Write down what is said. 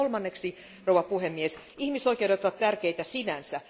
Kolmanneksi, arvoisa puhemies, ihmisoikeudet ovat tärkeitä sinänsä.